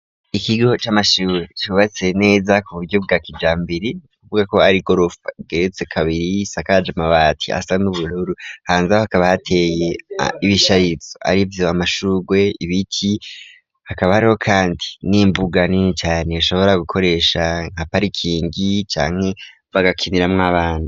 Ikigo c'amashue cyubatse neza ku buryo bwa kijambiri uvuga ko ari golof geretse kabiri gisakaje mabati asa n'ubururu hanze ho hakaba hateye ibishayitso ari byuba mashugwe ibiti hakaba ariho kandi n'imbuganini cane ashobora gukoresha nkaparikingi cyanke bagakiniramwo abantu.